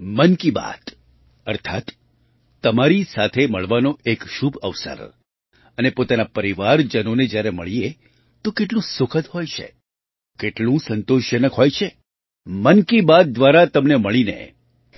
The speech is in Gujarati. મન કી બાત અર્થાત્ તમારી સાથે મળવાનો એક શુભ અવસર અને પોતાના પરિવારજનોને જ્યારે મળીએ તો કેટલું સુખદ હોય છે કેટલું સંતોષજનક હોય છે મન કી બાત દ્વારા તમને મળીને